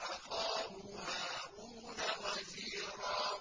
أَخَاهُ هَارُونَ وَزِيرًا